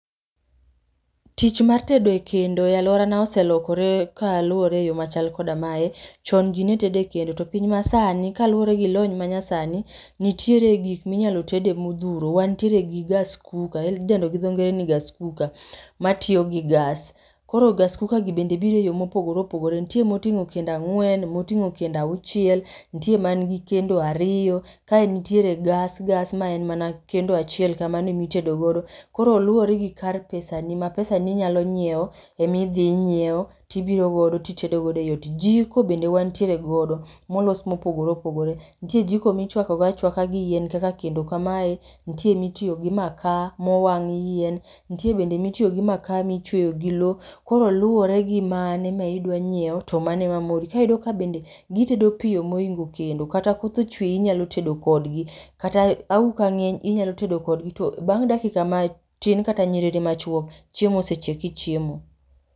Tich mar tedo e kendo a aluorana oselokore kaluwore e yoo machal koda mae . Chon jii ne tedo e kendo to piny masani kalure gi lony ma nya sani nitiere gik minyalo tede modhuro. Wantiere gi gas cooker midendo gi dho ngere ni gas cooker matiyo gas. Koro gas cooker bende bire yoo mopogore opogore ntie moting'o kendo ang'wen motingo kendo auchiel, ntie man gi kendo ariyo kae nitiere gas gas maen mana kendo achiel kamane mi tedo godo. Koro luwuore gi kar pesani ma pesani nyalo yiewo emi dhi nyiewo tibiro godo titedo godo eiot. Jiko bende wantiere godo molos mopogore opogore, ntie jiko michwako go achwaka giyien kaka kendo kamae ,ntie mitiyo gi makaa mowang' yien ntie bende mitiyo gi makaa michweyo gi lowo. Koro luwore gi mane midwaro nyiewo to mane ma moro tiyudo ka bende gitedo piyo moingo kendo ,kata koth ochwe inyalo tedo kod yien kata inyalo tedo kodgi to bang' dakika matin kata en nyiriri machwok chiemo osechiek ichiemo.